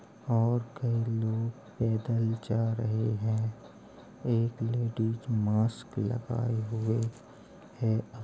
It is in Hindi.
और कई लोग पैदल जा रहें हैं। एक लेडीज़ मास्क लगाए हुए है | अ --